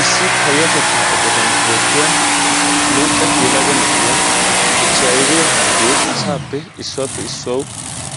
Issi payatettaa eqqottan oottiya macca yelaga na'iya echchi aybbee harggee asaappe issuwappe issuwawu